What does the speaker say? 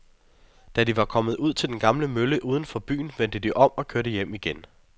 Da de var kommet ud til den gamle mølle uden for byen, vendte de om og kørte hjem igen.